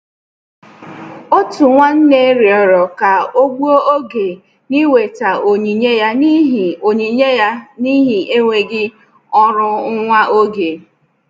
Òtù nwánnè rịọrọ ká ọ́ gbùo oge na-íwetà onyinye ya n'ihi onyinye ya n'ihi enweghị ọrụ nwa oge.